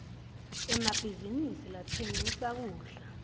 emabhizinisi latsengisa kudla